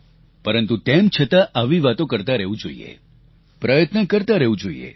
પરંતુ તમે છતાં આવી વાતો કરતા રહેવું જોઈએ પ્રયત્ન કરતા રહેવું જોઈએ